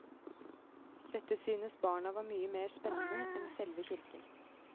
Dette synes barna var mye mer spennende enn selve kirken.